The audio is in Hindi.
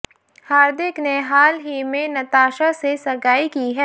हार्दिक ने हाल ही में नताशा से सगाई की है